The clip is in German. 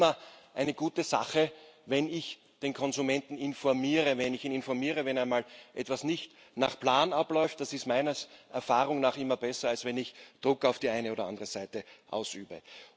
Es ist immer eine gute Sache, wenn ich den Konsumenten informiere. Wenn ich ihn informiere, wenn einmal etwas nicht nach Plan abläuft, das ist meiner Erfahrung nach immer besser, als wenn ich Druck auf die eine oder andere Seite ausübe.